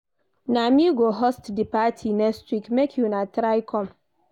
Na me go host di party next week, make una try come.